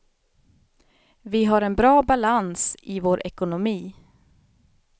Vi har en bra balans i vår ekonomi.